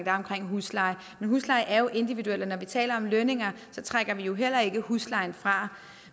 er omkring husleje men husleje er jo noget individuelt og når vi taler om lønninger så trækker vi jo heller ikke huslejen fra